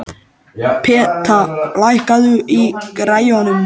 Peta, lækkaðu í græjunum.